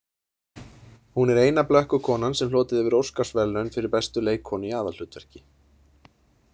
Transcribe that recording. Hún er eina blökkukonan sem hlotið hefur óskarsverðlaun fyrir bestu leikkonu í aðalhlutverki.